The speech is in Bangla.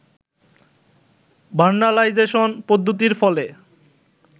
ভার্নালাইজেশন পদ্ধতির ফলে